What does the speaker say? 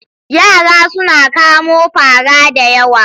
Yara sun kamo fara da yawa.